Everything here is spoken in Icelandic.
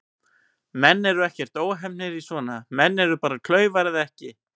Menn eru ekkert óheppnir í svona, menn eru bara klaufar eða ekki.